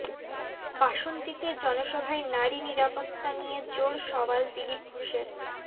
বাসন্তীতে জনসভায় নারী নিরাপত্তা নিয়ে জোর সওয়াল দিলীপ ঘোষের